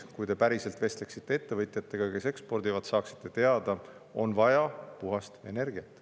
Kui te päriselt vestleksite ettevõtjatega, kes ekspordivad, siis saaksite teada, on vaja puhast energiat.